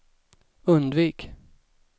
undvik